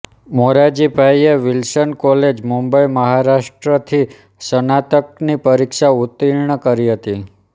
મોરારજીભાઈએ Wilson college Mumbai Maharashtra થી સ્નાતક ની પરીક્ષા ઉતીર્ણ કરી હતી